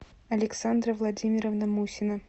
александра владимировна мусина